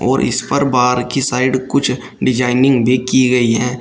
और इस पर बाहर की साइड कुछ डिजाइनिंग भी की गई है।